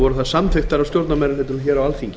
voru þær samþykktar af stjórnarmeirihlutanum á alþingi